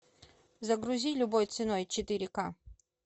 загрузи любой ценой четыре ка